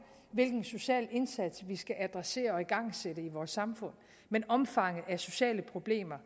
hvilken social indsats vi skal adressere og igangsætte i vores samfund men omfanget af sociale problemer